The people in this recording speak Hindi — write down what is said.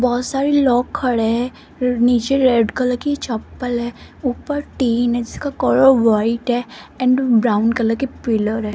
बहुत सारे लोग खड़े है नीचे रेड कलर की चप्पल है ऊपर टीन है जिसका कलर व्हाइट है एंड ब्राउन कलर के पिलर है।